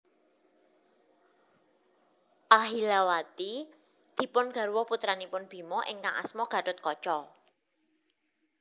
Ahilawati dipun garwa putranipun Bima ingkang asma Gathotkaca